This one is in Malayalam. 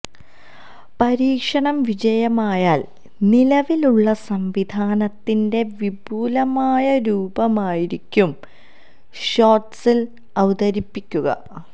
പരീക്ഷണം വിജയമായാൽ നിലവിലുള്ള സംവിധാനത്തിന്റെ വിപുലമായ രൂപമായിരിക്കും ഷോട്സിൽ അവതരിപ്പിക്കുക